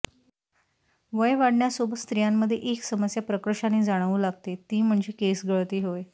वय वाढण्यासोबत स्त्रियांमध्ये एक समस्या प्रकर्षाने जाणवू लागते ती म्हणजे केस गळती होय